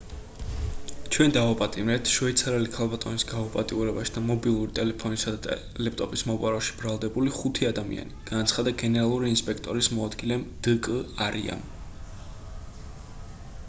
ჩვენ დავაპატიმრეთ შვეიცარიელი ქალბატონის გაუპატიურებაში და მობილური ტელეფონისა და ლეპტოპის მოპარვაში ბრალდებული ხუთი ადამიანი განაცხადა გენერალური ინსპექტორის მოადგილემ დ.კ. არიამ